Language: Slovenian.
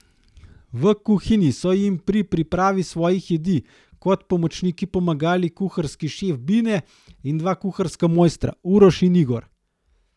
V kuhinji so jim pri pripravi svojih jedi kot pomočniki pomagali kuharski šef Bine in dva kuharska mojstra, Uroš in Igor.